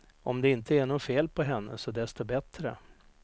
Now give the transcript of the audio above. Om det inte är något fel på henne, så desto bättre.